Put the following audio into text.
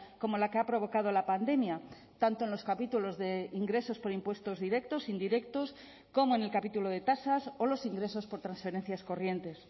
como la que ha provocado la pandemia tanto en los capítulos de ingresos por impuestos directos indirectos como en el capítulo de tasas o los ingresos por transferencias corrientes